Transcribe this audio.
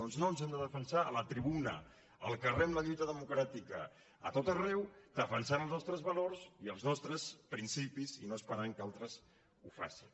doncs no ens hem de defensar a la tribuna al carrer amb la lluita democràtica a tot arreu defensant els nostres valors i els nostres principis i no esperant que altres ho facin